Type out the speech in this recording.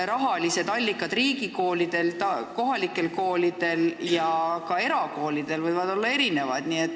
Rahaallikad võivad riigikoolidel, kohalikel koolidel ja ka erakoolidel erinevad olla.